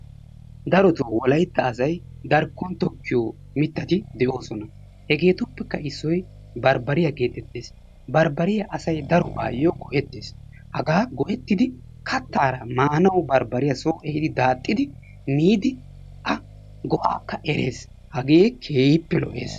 Darotoo wolaytta asay darkkon tokkiyo mittati de'oosona. Hegeetuppekka issoy baribariyaa geetetees. Baribariyaa asay darobaayoo go'etees. Hagaa go'ettidi kattaara maanawu barbariyaa soo ehiidi daaxxidi miidi a go'akka erees. Hagee keehiippe lo'ees.